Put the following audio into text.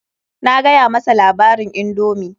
Na gaya masa labarin indomi.